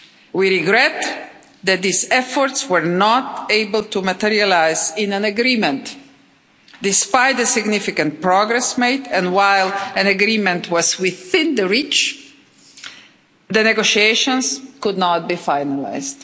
We regret that these efforts were not able to materialise in an agreement despite the significant progress made and, while an agreement was within reach, the negotiations could not be finalised.